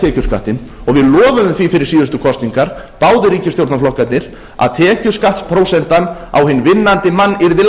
tekjuskattinn og við lofuðum því fyrir síðustu kosningar báðir ríkisstjórnarflokkarnir að tekjuskattsprósentan á hinn vinnandi mann yrði